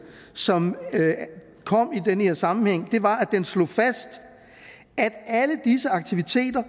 som kom i den her sammenhæng var at den slog fast at alle disse aktiviteter